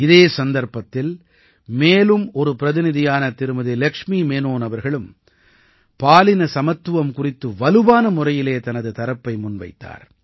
இதே சந்தர்ப்பத்தில் மேலும் ஒரு பிரதிநிதியான திருமதி லக்ஷ்மி மேனன் அவர்களும் பாலின சமத்துவம் குறித்து வலுவான முறையிலே தனது தரப்பை முன்வைத்தார்